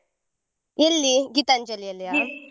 ಎಲ್ಲಿ ?